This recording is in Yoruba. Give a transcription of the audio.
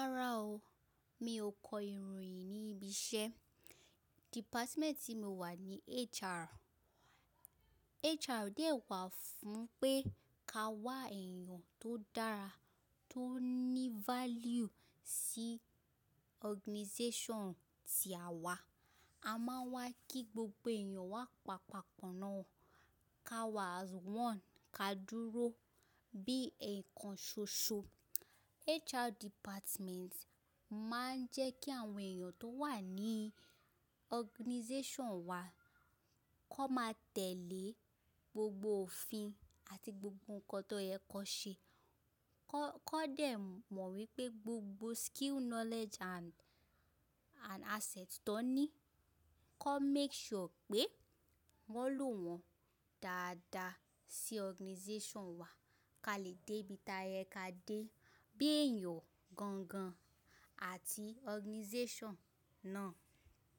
Rárá o, mi ò kọ ìròyìn ní ibi iṣẹ́. Department tí mo wà ni HR. HR dẹ̀ wà fún pé ka wá èèyàn tó dára, tó ní value sí organization ti àwa. A máa ń wá kí gbogbo èèyàn wá pa papọ̀ náà, ka wà as one, ká dúró bí eekan ṣoṣo. HR department máa ń jẹ́ kí àwọn èèyàn tó wà ní organization wa kó máa tẹ̀lé gbogbo òfin àti gbogbo nǹkan tó yẹ kó ṣe. Kó dé mọ̀ wípé gbogbo skill, knowledge and, and asset tó ní, kó make sure pé wọ́n lò wọ́n dáadáa sí organization wa, ká lè dé ibi tí ẹka dé, bí èèyàn gangan àti organization náà.